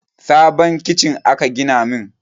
Sabon kicin aka gina min